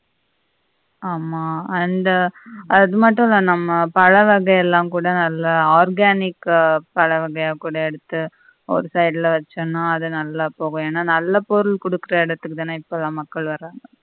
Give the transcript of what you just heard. ஆமா அந்த அதுமட்டும் இல்ல நம்ம பழவகை யெல்லாம் கூட நல்ல organic க பழவகையாக கூட எடுத்து ஒரு side ல வெச்சன்னா அது நல்ல நல்ல போறு குடுக்கிற இடத்துக்கு தானே இப்பல்லாம் மக்கள் வராங்க